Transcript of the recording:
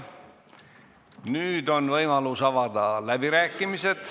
Nüüd on võimalus avada läbirääkimised.